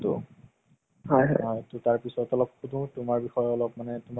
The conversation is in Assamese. জীৱনত টো বহুত খিনি চলি আছে